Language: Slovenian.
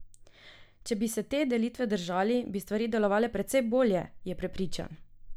Če bi se te delitve držali, bi stvari delovale precej bolje, je prepričan.